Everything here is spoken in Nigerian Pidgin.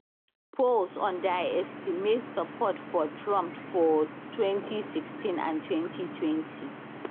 polls underestimate support for trump for both 2016 and 2020